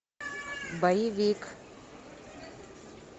боевик